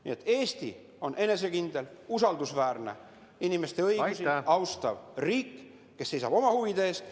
Nii et Eesti on enesekindel, usaldusväärne, inimeste õigusi austav riik, kes seisab oma huvide eest.